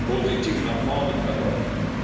positiv nach vorne verläuft.